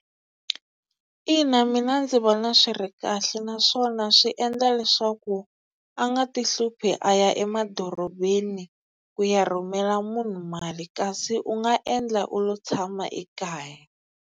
Ina mina ndzi vona swi ri kahle naswona swi endla leswaku a nga ti hluphi a ya emadorobeni ku ya rhumela munhu mali kasi u nga endla u lo tshama ekaya.